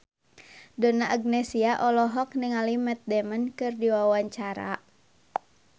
Donna Agnesia olohok ningali Matt Damon keur diwawancara